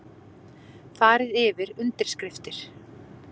Farið yfir undirskriftir